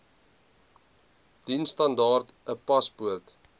diensstandaard n paspoort